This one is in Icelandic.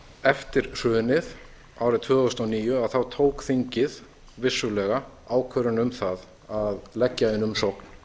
eftir hrunið árið tvö þúsund og níu tók þingið vissulega ákvörðun um það að leggja inn umsókn